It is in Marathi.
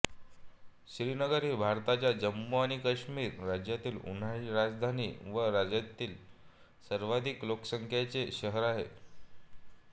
श्रीनगर ही भारताच्या जम्मू आणि काश्मीर राज्याची उन्हाळी राजधानी व राज्यातील सर्वाधिक लोकसंख्येचे शहर आहे